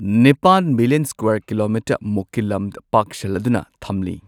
ꯅꯤꯄꯥꯟ million square kilometre ꯃꯨꯛꯀꯤ ꯂꯝ ꯄꯥꯛꯁꯜꯂꯗꯨꯅ ꯊꯝꯂꯤ꯫